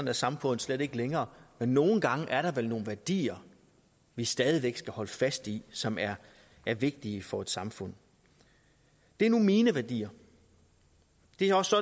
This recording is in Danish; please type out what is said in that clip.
er samfundet slet ikke længere men nogle gange er der vel nogle værdier vi stadig væk skal holde fast i som er er vigtige for et samfund det er nu mine værdier det er også